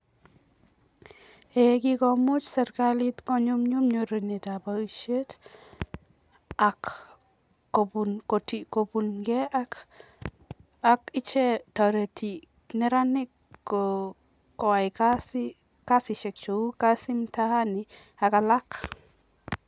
Eee kikomuch serikalit konyumnyum nyorunetab boisiet ak kobunkei ak ichek, toreti neranik koyai kasisiek cheu Kazi Mtaani ak alak.